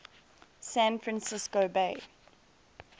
san francisco bay